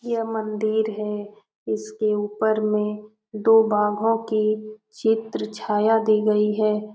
ये मंदिर है इसके ऊपर में दो बाघों की चित्र छाया दी गई है।